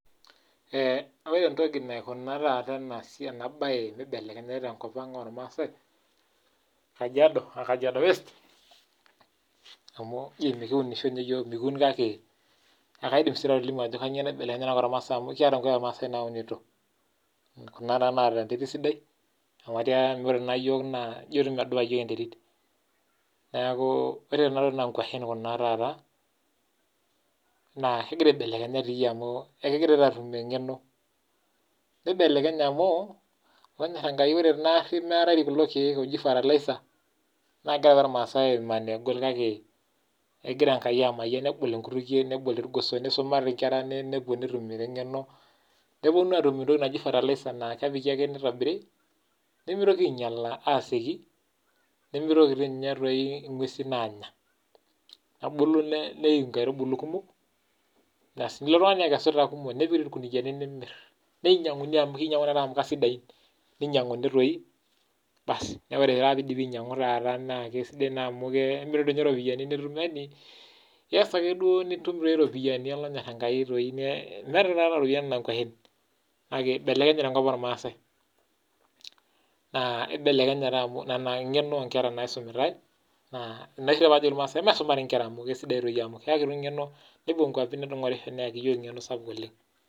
Ore entoki naikuna taata ena bae meibelekenyayu tenkop ang'o ormaasai kajiado aaa kajiado West amu jii mekiunisho enye iyook kake akaidim naji sinanu atolimu ajo kanyioo naibelekenya tenkop ormaasai amu kiata inkuti ormaasai naunito kuna taa naata enterit sidai amu atiaki ore nayii iyok naa ijo toi medupa iyook enterit neeku ore kuna tokitin naa inkwashen kuna tataa naa kegira aibelekenya tii iye amu ekegira atum eng'eno neibelekenye amuu olonyor enkai oree naarii meetae kulo kiek ooji fertilizers naa kegira apa irmaasai aima eneegol kake egira enkai amayian nebol inkutukie nebol neisuma enkera nepuo netum eng'eno neponu atuum entoki naji fertilizers naa kepiki ake netobiri nemeitoki ainyiala asieki nemeitoki tii nye toii ing'wesin aanya nebulu neiu inkaitubulu kumok nilo oltung'ani akesu etaa kumok neiput irkuniyiani nemir neinyang'uni amu keinyang'uni naa amuu kasidai neinyang'uni toi bass nekuu oree taa pidipi ainyang'u taata naa kesidai naa amu tenutum iropiyani iyaas ake duo nitum toi iropiyani olonyor enkai toi meeta entoki naata iropiyani enaa inkwashen kake eibelekenye tenkop ormaasai naa eibelekenye naa amuu nena ng'eno ooo inkera naisumitai naa inaa sii paajeki irmaasai maisuma tii inkera amu kesidai toi amu keyaki eng'eno nepuo inkwapin neing'orisho neyaki iyook eng'eno sapuk oleng'